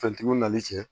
Fɛntigiw nali cɛ